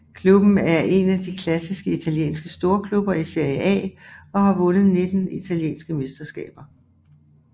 Klubben er en af de klassiske italienske storklubber i Serie A og har vundet 19 italienske mesterskaber